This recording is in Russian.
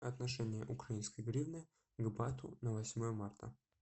отношение украинской гривны к бату на восьмое марта